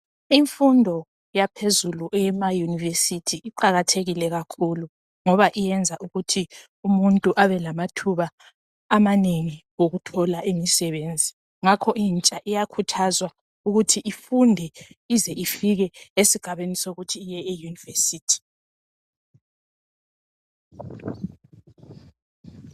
Imfundo yaphezulu eyema university iqakathekile kakhulu ngoba iyenza umuntu abelamathuba amanengi awokuthola imisebenzi ngakho abafuni bayakhuthazwa ukuthi befunde baze bayefika ebangeni le university